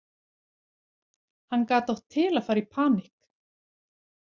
Hann gat átt til að fara í panikk.